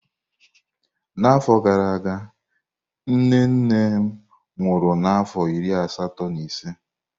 N'afọ gara aga, nne nne m nwụrụ n'afọ iri asatọ na ise.